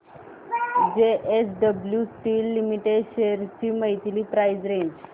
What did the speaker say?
JSW steel limited shares ची monthly price range